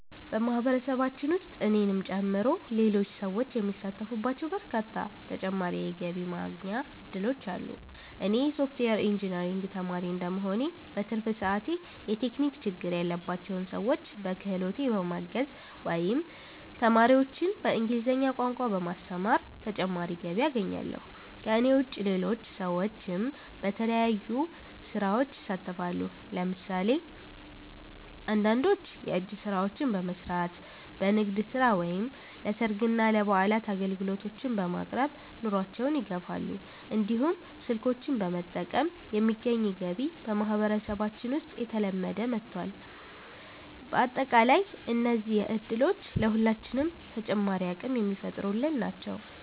በማህበረሰባችን ውስጥ እኔንም ጨምሮ ሌሎች ሰዎች የሚሳተፉባቸው በርካታ ተጨማሪ የገቢ ማስገኛ እድሎች አሉ። እኔ የሶፍትዌር ኢንጂነሪንግ ተማሪ እንደመሆኔ፣ በትርፍ ሰዓቴ የቴክኒክ ችግር ያለባቸውን ሰዎች በክህሎቴ በማገዝ ወይም ተማሪዎችን በእንግሊዝኛ ቋንቋ በማስተማር ተጨማሪ ገቢ አገኛለሁ። ከእኔ ውጭ ሌሎች ሰዎችም በተለያዩ ስራዎች ይሳተፋሉ። ለምሳሌ አንዳንዶች የእጅ ስራዎችን በመስራት፣ በንግድ ስራ ወይም ለሰርግና ለበዓላት አገልግሎቶችን በማቅረብ ኑሯቸውን ይደግፋሉ። እንዲሁም ስልኮችን በመጠገን የሚገኝ ገቢ በማህበረሰባችን ውስጥ እየተለመደ መጥቷል። በአጠቃላይ እነዚህ እድሎች ለሁላችንም ተጨማሪ አቅም የሚፈጥሩልን ናቸው።